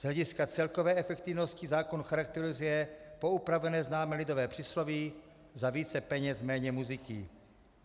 Z hlediska celkové efektivnosti zákon charakterizuje poupravené známé lidové přísloví za více peněz méně muziky.